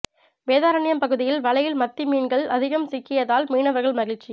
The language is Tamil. வேதாரண்யம் பகுதியில் வலையில் மத்தி மீன்கள் அதிகம் சிக்கியதால் மீனவர்கள் மகிழ்ச்சி